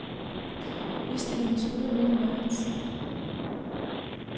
Udstillingen slutter midt i marts.